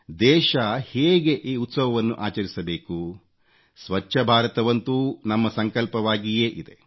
ದೇಶ ಹೇಗೆ ಈ ಉತ್ಸವವನ್ನು ಆಚರಿಸಬೇಕು ಸ್ವಚ್ಚ ಭಾರತವಂತೂ ನಮ್ಮ ಸಂಕಲ್ಪವಾಗಿಯೇ ಇದೆ